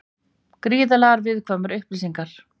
Gríðarlega viðkvæmar upplýsingar